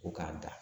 Ko k'an ta